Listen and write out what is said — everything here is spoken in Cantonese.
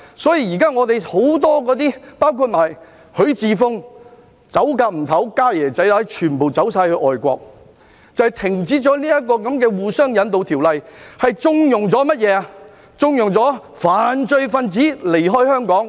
因此，現時很多人包括許智峯也急不及待要逃走，"家爺仔乸"全部逃到外國，正因他們停止了這項互相引渡的法例，縱容犯罪分子離開香港......